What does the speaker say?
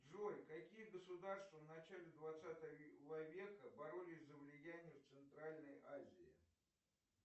джой какие государства в начале двадцатого века боролись за влияние в центральной азии